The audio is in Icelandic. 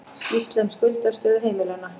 Skýrsla um skuldastöðu heimilanna